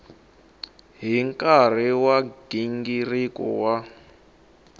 hi nkarhi wa nghingiriko wa